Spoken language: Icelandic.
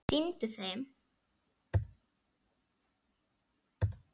Sýndu þeim!